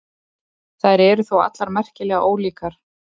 Þær eru þó allar merkilega ólíkar.